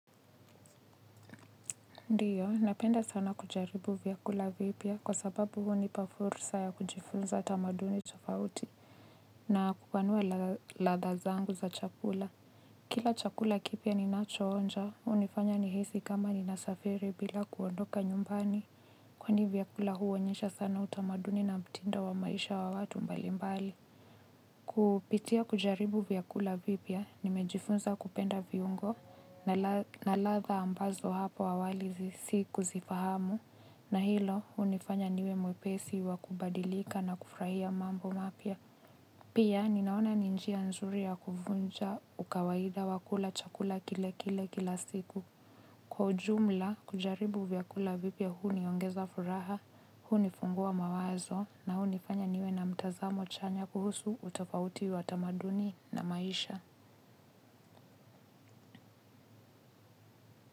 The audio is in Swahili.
Ndiyo, napenda sana kujaribu vyakula vipya kwa sababu huo hunipa fursa ya kujifunza tamaduni tofauti na kupanua ladha zangu za chakula. Kila chakula kipya ni nachoonja, unifanya ni hisi kama ni nasafiri bila kuondoka nyumbani. Kwani vyakula huonyesha sana utamaduni na mtindo wa maisha wa watu mbalimbali. Kupitia kujaribu vyakula vipya nimejifunza kupenda viungo na ladha ambazo hapo awali si kuzifahamu na hilo unifanya niwe mwepesi wa kubadilika na kufurahia mambo mapya. Pia ninaona ni njia nzuri ya kufunja ukawaida wa kula chakula kile kile kila siku. Kwa ujumla, kujaribu vyakula vipya huniongeza furaha, hunifungua mawazo na hunifanya niwe na mtazamo chanya kuhusu utafauti wa tamaduni na maisha.